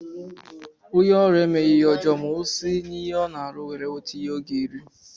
Onye ọrụ emeghi ihe ọjọọ ma o si n'ihe Ọ na-arụ were nweta ihe Ọ ga-eri.